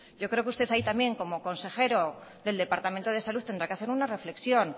yo creo que usted ahí también como consejero del departamento de salud tendrá que hacer una reflexión